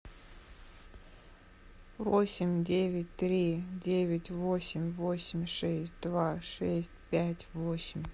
восемь девять три девять восемь восемь шесть два шесть пять восемь